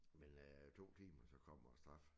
Men øh 2 timer så kommer æ straf